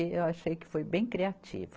Eu achei que foi bem criativo.